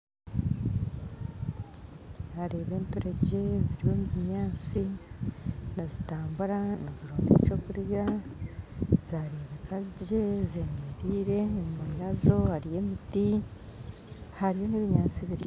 Naareeba enturegye ziri omu binyasi nizitambura nizironda ekyokurya zarebeka gye zemeriire enyuma yaazo hariyo emiti hariyo na ebinyasi biringwa